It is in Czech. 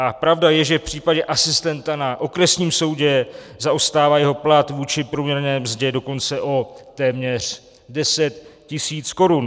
A pravda je, že v případě asistenta na osobním soudě zaostává jeho plat vůči průměrné mzdě dokonce o téměř 10 tisíc korun.